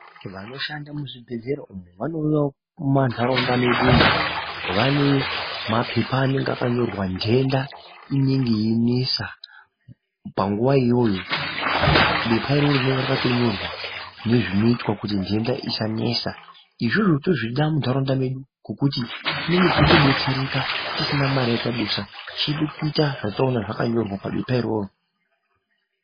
Vanoshanda muzvibhedhlera umo vanouyavo mumantaraunda mwedumu vane mapepa anenge akanyorwa nhenda inenge yeinesa panguva iyoyo, bepa iroro rinonga rakato nyorwa nezvinoitwa kuti nhenda isanesa. Izvozvo tozvida muntaraunda medu ngokuti tinenge teitobetsereka tisina mari yatadusa. Chedu kuita zvatinonga taona zvakanyorwa pabepa iroro.